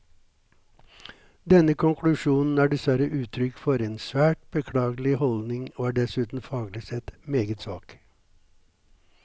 Denne konklusjonen er dessverre uttrykk for en svært beklagelig holdning, og er dessuten faglig sett meget svak.